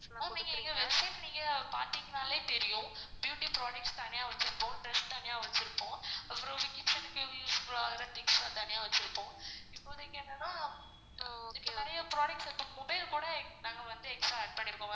ma'am நீங்க எங்க website நீங்க பாத்தீங்கனாலே தெரியும் beauty products தனியா வச்சிருப்போம் தனியா வச்சிருப்போம். இப்போதைக்கு என்னனா இப்போ இங்க நிறைய products இருக்கு mobiles கூட நாங்க வந்து extra add பண்ணிருக்கோம்.